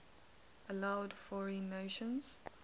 allowed foreign nations